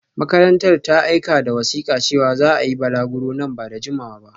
Makarantar ta aika da wasika cewa za a yi balaguro nan ba da jimawa ba